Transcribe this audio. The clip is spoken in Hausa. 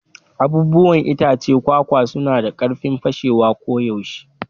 Abubuwan itacen kwakwa suna da karfin fashewa koyaushe.